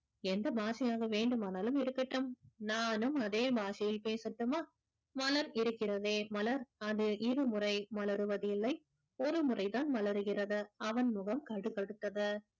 எந்த பாஷையாக வேண்டுமானாலும் இருக்கட்டும் நானும் அதே பாஷையில் பேசட்டுமா மலர் இருக்கிறதே மலர் அது இருமுறை மலருவதில்லை ஒருமுறை தான் மலருகிறது அவன் முகம் கடுத்கடுத்தது